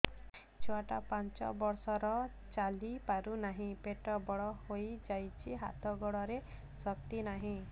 ଛୁଆଟା ପାଞ୍ଚ ବର୍ଷର ଚାଲି ପାରୁ ନାହି ପେଟ ବଡ଼ ହୋଇ ଯାଇଛି ହାତ ଗୋଡ଼ରେ ଶକ୍ତି ନାହିଁ